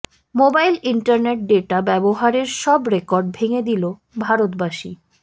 mobile internet data ব্যবহারের সব record ভেঙে দিল ভারতবাসী